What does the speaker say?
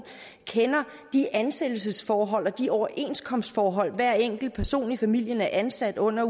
kender de ansættelsesforhold og de overenskomstforhold hver enkelt person i familien er ansat under